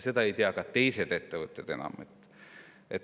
Seda ei tea enam ka teised ettevõtted.